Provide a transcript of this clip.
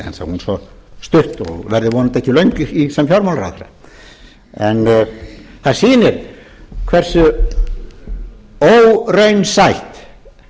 hún svo stutt og verður vonandi ekki löng sem fjármálaráðherra en það sýnir hversu óraunsætt